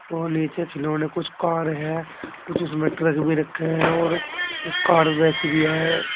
और नीचे खिलौने कुछ कार है कुछ उसमें ट्रक भी रखे हैं और कुछ कार वैसी भी है।